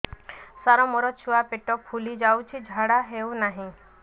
ସାର ମୋ ଛୁଆ ପେଟ ଫୁଲି ଯାଉଛି ଝାଡ଼ା ହେଉନାହିଁ